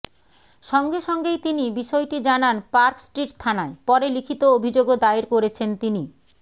সঙ্গে সঙ্গেই তিনি বিষয়টি জানান পার্ক স্ট্রিট থানায় পরে লিখিত অভিযোগও দায়ের করেছেন তিনি